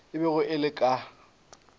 e bego e le ka